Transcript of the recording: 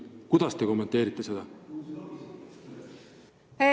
Kuidas te seda kommenteerite?